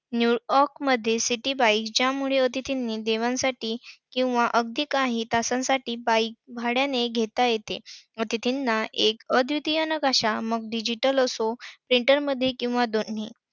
न्यूयॉर्कमध्ये city bike च्या मुळ अतिथींनी दिवसांसाठी किंवा अगदी काही तासांसाठी bike भाड्याने घेता येते. अतिथींना एक अद्वितीय नकाशा मग digital असो written मध्ये किंवा दोन्ही